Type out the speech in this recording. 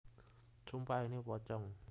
Sumpah Ini Pocong